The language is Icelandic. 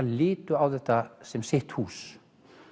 litu á þetta sem sitt hús